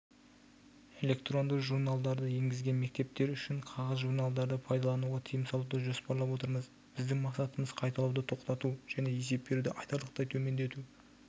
электронды журналдарды енгізген мектептер үшін қағаз журналдарды пайдалануға тыйым салуды жоспарлап отырмыз біздің мақсатымыз қайталауды тоқтату және есеп беруді айтарлықтай төмендету